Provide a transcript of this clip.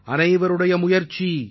அனைவருடைய முயற்சி